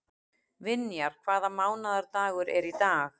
Vinjar, hvaða mánaðardagur er í dag?